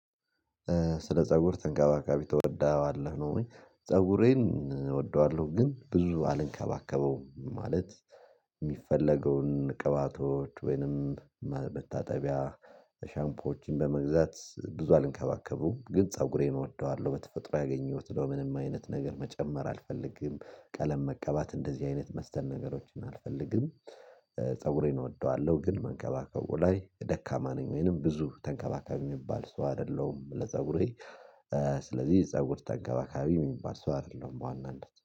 ስለ ፀጉር ተንቀባቃቢ ተወርዳለህ ነው ወይ ፀጉሬን እወደዋለሁ ግን ብዙ አልንከባከበውም ማለት የሚፈለገውን ቅባቶች ወይንም መታጠቢያ ሻምፖችን በመግዛት ብዙ አልንከባከቡም ግን ፀጉሬን እወደዋለሁ በተፈጥሮ ያገኘሁት ምንም አይነት ነገር መጨመር አልፈልግም። ቀለም መቀባት እንደዚህ አይነት መስተን ነገሮችን አልፈልግም። ፀጉሬን እወደዋለሁ ግን መንከባከቡ ላይ ደካማ ነኝ ወይንም ብዙ ተንከባካቢ የሚባል ሰው አይደለሁም ለፀጉሬ። ስለዚህ ፀጉር ተንገባካቢ የሚባል ሰው አይደለም በዋናነት